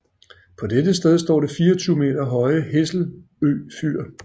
På dette sted står det 24 meter høje Hesselø Fyr